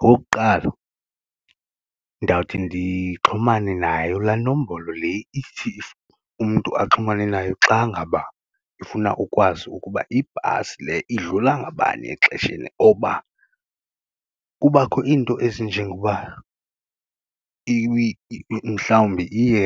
Okokuqala, ndawuthi ndixhumane nayo la nombolo le ithi umntu axhumane nayo xa ngaba ifuna ukwazi ukuba ibhasi le idlula ngabani exesheni oba kubakho iinto ezinjengokuba mhlawumbi iye